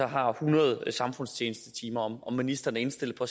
har hundrede samfundstjenestetimer er ministeren indstillet på